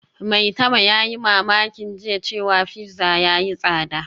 Maitama yayi mamakin jiya cewa pizza yayi tsada